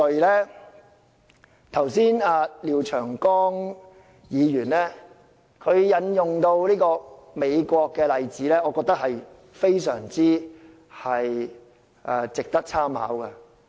剛才廖長江議員引用美國的例子，我認為非常值得參考。